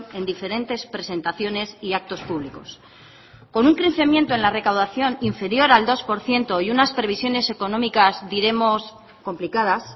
en diferentes presentaciones y actos públicos con un crecimiento en la recaudación inferior al dos por ciento y unas previsiones económicas diremos complicadas